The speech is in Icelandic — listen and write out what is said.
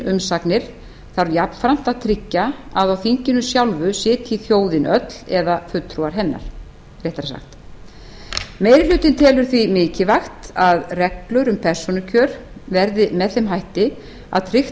umsagnir þarf jafnframt að tryggja að á þinginu sitji þjóðin öll eða fulltrúar hennar réttara sagt meiri hlutinn telur því mikilvægt að reglur um persónukjör verði með þeim hætti að tryggt